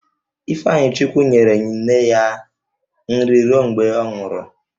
Ifeanyichukwu nyere nne ya nri ruo mgbe ọ nwụrụ